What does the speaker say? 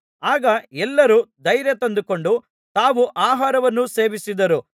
ಆಗ ಎಲ್ಲರೂ ಧೈರ್ಯ ತಂದುಕೊಂಡು ತಾವೂ ಆಹಾರವನ್ನು ಸೇವಿಸಿದರು